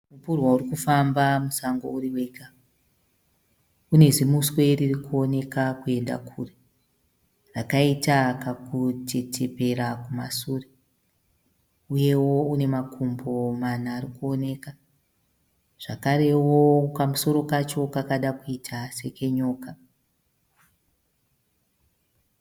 Mupurwa uri kufamba musango uri wega. Une zimuswe riri kuonekwa kuenda kure rakaita kakutetepera kumasure. Uyewo une makumbo mana ari kuoneka. Zvakarewo kamusoro kacho kakada kuita sekenyoka.